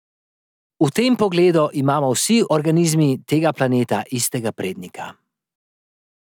V tem pogledu imamo vsi organizmi tega planeta istega prednika.